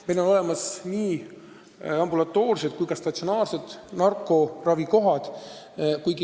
Meil on olemas nii ambulatoorsed kui ka statsionaarsed narkoravikohad.